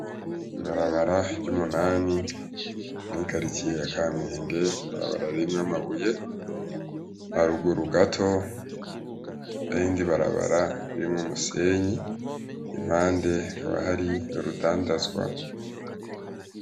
Ibarabara ryumunani mwi karitiye yakamenge, ibarabara ririmwo amabuye, haruguru gato hariyirindi Barabara ririmwo umusenyi, impande haba hari urudandazwa.